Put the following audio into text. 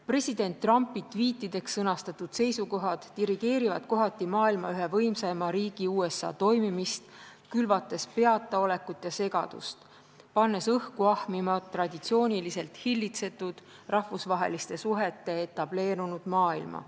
President Trumpi tviitideks sõnastatud seisukohad dirigeerivad kohati maailma ühe võimsaima riigi USA toimimist, külvates peataolekut ja segadust, pannes õhku ahmima traditsiooniliselt hillitsetud rahvusvaheliste suhete etableerunud maailma.